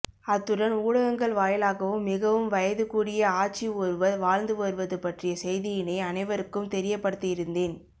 அத்துடன் ஊடகங்கள் வாயிலாகவும் மிகவும் வயது கூடிய ஆச்சி ஒருவர் வாழ்ந்து வருவதுபற்றிய செய்தியினை அனைவருக்கும் தெரியப்படுத்தியிருந்தேன்